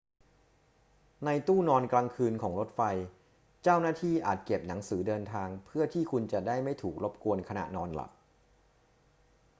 ในตู้นอนกลางคืนของรถไฟ เจ้าหน้าที่อาจเก็บหนังสือเดินทางเพื่อที่คุณจะได้ไม่ถูกรบกวนขณะนอนหลับ